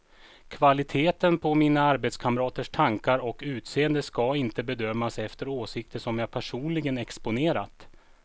Kvaliteten på mina arbetskamraters tankar och utseende ska inte bedömas efter åsikter som jag personligen exponerat.